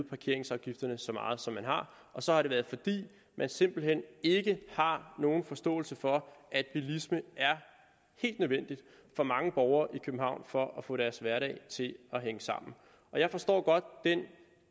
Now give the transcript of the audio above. parkeringsafgifterne så meget op som man har og så har det været fordi man simpelt hen ikke har nogen forståelse for at bilisme er helt nødvendigt for mange borgere i københavn for at få deres hverdag til at hænge sammen jeg forstår godt den